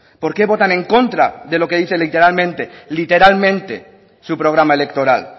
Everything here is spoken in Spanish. por qué votan en contra de lo que dice literalmente literalmente su programa electoral